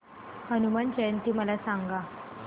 हनुमान जयंती मला सांगा